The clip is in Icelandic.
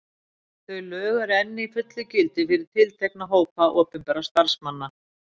Þau lög eru enn í fullu gildi fyrir tiltekna hópa opinberra starfsmanna.